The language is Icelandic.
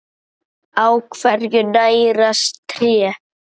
Á hverju nærast tré?